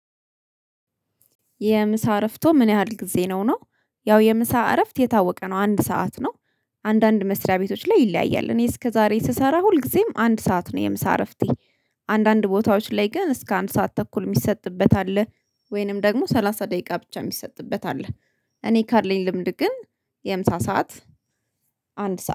የምሳ እረፍቶ ምን ያህል ጊዜ ነው? ነው ያው የምሳ እረፍት የታወቀ ነው አንድ ሰዓት ነው አንዳንድ መስሪያ ቤቶች ላይ ይለያያል እኔ እስከዛሬ ስሰራ ሁልጊዜም አንድ ሰዓት ነው የምሳ እረፍቴ አንዳንድ ቦታዎች ላይ ግን እስከ አንድ ሰዓት ተኩል የሚሰጥበት አለ ወይንም ደግሞ ሰላሳ ደቂቃ ብቻ የሚሰጥበት አለ እኔ ካለኝ ልምድ ግን የምሳ ሰዓት አንድ ሰዓት